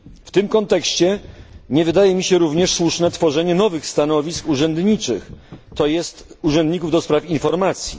W tym kontekście nie wydaje mi się również słuszne tworzenie nowych stanowisk urzędniczych, to jest urzędników do spraw informacji.